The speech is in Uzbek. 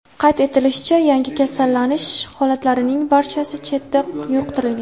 Qayd etilishicha, yangi kasallanish holatlarining barchasi chetdan yuqtirilgan.